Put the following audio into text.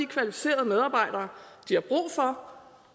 kvalificerede medarbejdere de har brug for